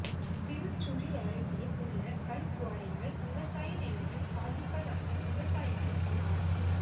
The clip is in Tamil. திருச்சுழி அருகே உள்ள கல்குவாரியால் விவசாய நிலங்கள் பாதிப்பதாக விவசாயிகள் புகார்